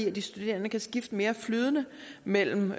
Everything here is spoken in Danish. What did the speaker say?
at de studerende kan skifte mere flydende mellem